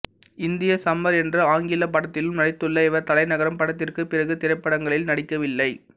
Indian summer என்ற ஆங்கிலப் படத்திலும் நடித்துள்ள இவர் தலைநகரம் படத்திற்கு பிறகு திரைப்படங்களில் நடிக்கவில்லை